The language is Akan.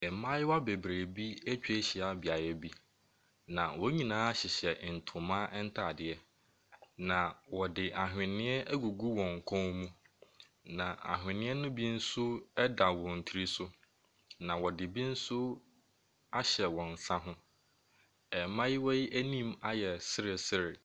Mmayewa bebree bi ɛtwa hyia beaeɛ bi na wɔn nyinaa hyehyɛ ntoma ntaadeɛ. Na ɔde awheniɛ ɛgugu wɔn kɔn mu na awheniɛ no bi nso ɛda wɔn tiri so na wɔde bi nso ahyɛ wɔn nsa ho. Mmaayewaa yi ɛnim ayɛ seresere.